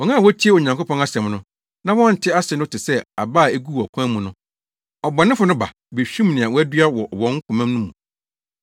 Wɔn a wotie Onyankopɔn asɛm no, na wɔnte ase no te sɛ aba a eguu ɔkwan mu no. Ɔbɔnefo no ba, behwim nea wɔadua wɔ wɔn koma mu no.